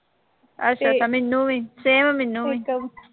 ਅੱਛਾ ਅੱਛਾ ਮੈਨੂੰ ਵੀ same ਮੈਨੂੰ ਵੀ